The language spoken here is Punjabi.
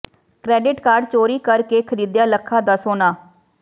ਕਰੈਡਿਟ ਕਾਰਡ ਚੋਰੀ ਕਰ ਕੇ ਖਰੀਦਿਆ ਲੱਖਾਂ ਦਾ ਸੋਨਾ